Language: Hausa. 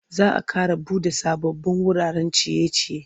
Za a ƙara buɗe sababbin wuraren ciye-ciye.